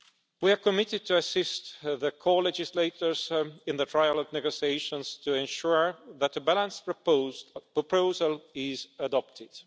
We are committed to assisting the co-legislators in the trilogue negotiations to ensure that a balanced proposal is adopted.